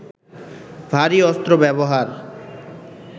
ভারী অস্ত্র ব্যবহার